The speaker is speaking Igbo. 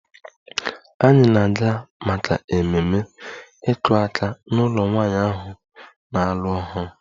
Anyị na-aga maka ememe "iku aka" n'ụlọ nwanyị ahụ na-alụ ọhụrụ"